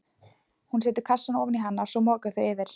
Hún setur kassann ofan í hana og svo moka þau yfir.